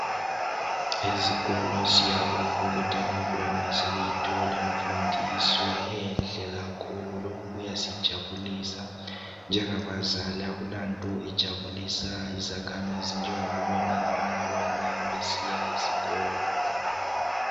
Ezikolo siyabonga ukuthi abantwana sebeyithola imfundiso enhle kakhulu lokhu kuyasijabulisa njengabazali akulanto ejabulisa izakhamizi njengoku bona abantwana besiya esikolo.